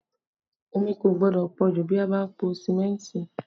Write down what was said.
Omi kò gbọ́dọ̀ pọ jù bí a bá ń po símẹ́ntì